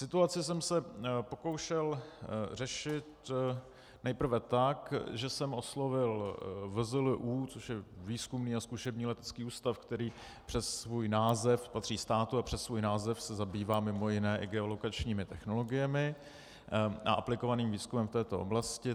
Situaci jsem se pokoušel řešit nejprve tak, že jsem oslovil VZLÚ, což je Výzkumný a zkušební letecký ústav, který přes svůj název patří státu a přes svůj název se zabývá mimo jiné i geolokačními technologiemi a aplikovaným výzkumem v této oblasti.